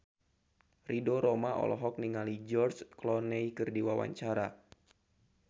Ridho Roma olohok ningali George Clooney keur diwawancara